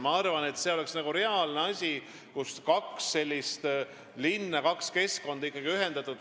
Ma arvan, et see oleks reaalne asi, kuidas saaks kaks linna, kaks keskkonda ühendada.